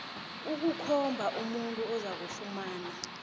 ukukhomba umuntu ozakufumana